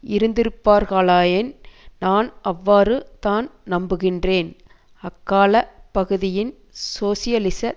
இருந்திருப்பார்களாயின் நான் அவ்வாறு தான் நம்புகின்றேன் அக்காலப் பகுதியின் சோசியலிச